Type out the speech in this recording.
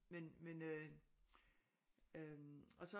Men men øh øh og så